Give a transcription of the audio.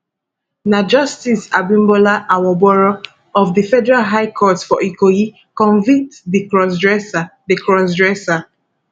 na justice abimbola awogboro of di federal high court for ikoyi convict di crossdresser di crossdresser